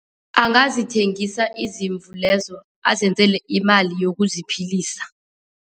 Angazithengisa izimvu lezo, azenzela imali yokuziphilisa.